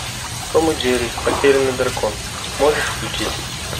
том и джерри потерянный дракон можешь включить